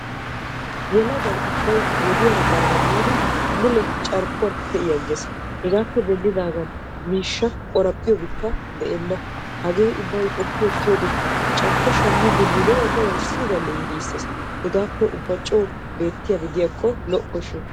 Yelagay ubbay wodiyara baana giidi mule carkkuwan pee'i agees. Hegaappe denddigan miishsha qoraphphiyobikka baawa hagaa qoppiyoodde nu de'uwaa ubba coo wurssiganee gisees.